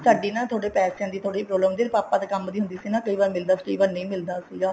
ਸਾਡੀ ਨਾ ਪੈਸਿਆਂ ਦੀ ਥੋੜੀ problem ਪਾਪਾ ਦੇ ਕੰਮ ਦੀ ਹੁੰਦੀ ਸੀ ਕਈ ਵਾਰ ਮਿਲਦਾ ਸੀਗਾ ਕਈ ਵਾਰ ਨਹੀਂ ਮਿਲਦਾ ਸੀਗਾ